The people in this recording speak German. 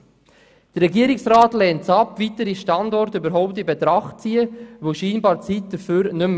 Der Regierungsrat lehnt es ab, weitere Standorte überhaupt in Betracht zu ziehen, weil scheinbar die Zeit nicht ausreicht.